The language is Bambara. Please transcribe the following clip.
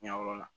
Ɲɛyɔrɔ la